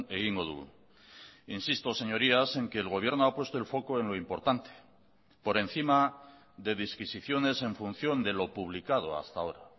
egingo dugu insisto señorías en que el gobierno ha puesto el foco en lo importante por encima de disquisiciones en función de lo publicado hasta ahora